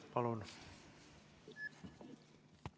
Palun!